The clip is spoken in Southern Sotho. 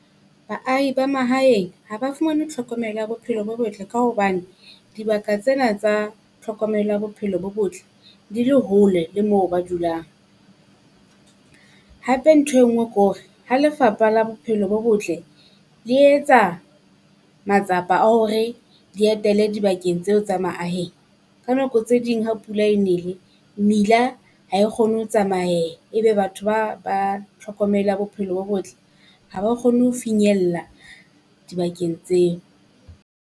Baahi ba mahaeng ha ba fumane tlhokomelo ya bophelo bo botle ka hobane, dibaka tsena tsa tlhokomelo ya bophelo bo botle di le hole le moo ba dulang. Hape nthwe ngwe kore ha Lefapha la Bophelo bo Botle le etsa matsapa a hore di etele dibakeng tseo tsa maaheng, ka nako tse ding ha pula e nele mmila ha e kgone ho tsamayeha ebe batho ba ba tlhokomelo bophelo bo botle ha ba kgone ho finyella dibakeng tseo.